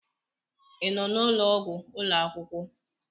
Ị nọ n'ụlọ ọgwụ ụlọ akwụkwọ?